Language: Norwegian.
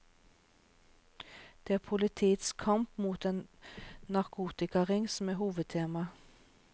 Det er politiets kamp mot en narkotikaring som er hovedtema.